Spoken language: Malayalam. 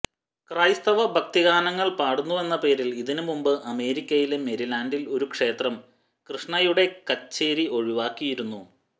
ക്രൈസ്തവ ഭക്തിഗാനങ്ങൾ പാടുന്നുവെന്നപേരിൽ ഇതിനു മുമ്പ് അമേരിക്കയിലെ മേരിലാൻഡിൽ ഒരു ക്ഷേത്രം കൃഷ്ണയുടെ കച്ചേരി ഒഴിവാക്കിയിരുന്നു